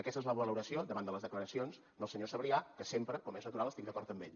aquesta és la valoració davant de les declaracions del senyor sabrià que sempre com és natural estic d’acord amb ell